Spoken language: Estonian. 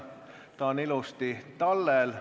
Ta on ilusti tallel.